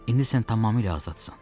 İndi sən tamamilə azadsan.